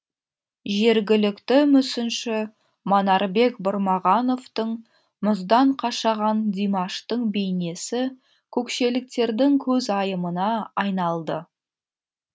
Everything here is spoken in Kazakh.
жергілікті мүсінші манарбек бұрмағановтың мұздан қашаған димаштың бейнесі көкшеліктердің көзайымына айналды